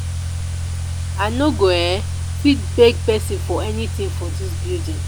i no go um fit beg person for anything for dis building